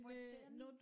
Hvordan